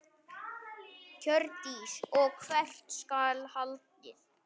Hjördís: Og hvert skal haldið?